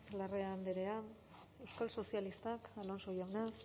larrea andrea euskal sozialistak alonso jauna